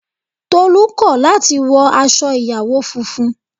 Tolu kò láti wọ aṣọ ìyàwó funfun